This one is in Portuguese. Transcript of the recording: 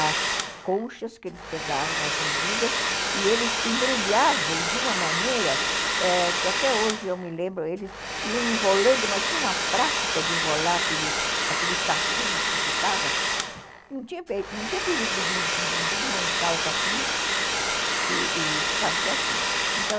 as conchas que eles pegavam, as medidas, e eles embrulhavam de uma maneira que até hoje eu me lembro, eles iam enrolando, mas tinha uma prática de enrolar aquele aquele saquinho que ficava, não tinha perigo de desmanchar o saquinho e e ficava certinho, então